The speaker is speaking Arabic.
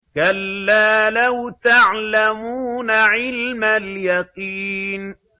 كَلَّا لَوْ تَعْلَمُونَ عِلْمَ الْيَقِينِ